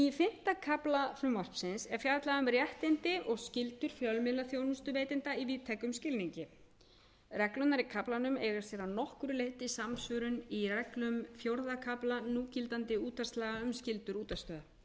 í fimmta kafla frumvarpsins er fjallað um réttindi og skyldur fjölmiðlaþjónustuveitenda í víðtækum skilningi reglurnar í kaflanum eru að nokkru leyti samsvörun í reglum fjórða kafla núgildandi útvarpslaga um skyldur útvarpsráðs sambærilegar